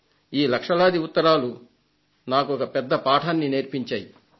ఈ లక్షలాది ఉత్తరాలు నాకొక పెద్ద పాఠాన్ని నేర్పించాయి